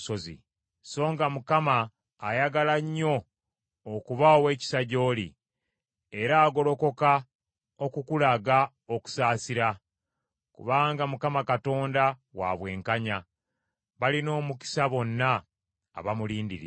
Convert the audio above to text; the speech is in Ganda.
Songa Mukama ayagala nnyo okuba ow’ekisa gy’oli; era agolokoka okukulaga okusaasira. Kubanga Mukama Katonda wa bwenkanya, balina omukisa bonna abamulindirira.